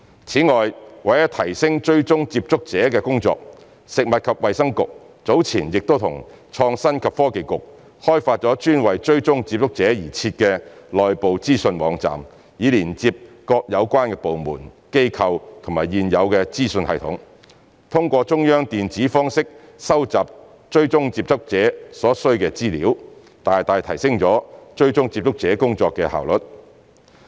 此外，為了提升追蹤接觸者的工作，食物及衞生局早前已與創新及科技局開發專為追蹤接觸者而設的內部資訊網站，以連接各有關部門、機構及現有資訊系統，通過中央電子方式收集追蹤接觸者所需的資料，大大提升了追蹤接觸者工作的效率。